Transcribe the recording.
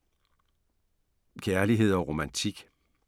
Kærlighed & romantik